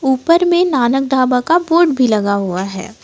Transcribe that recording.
ऊपर में नानक ढाबा का बोर्ड भी लगा हुआ है।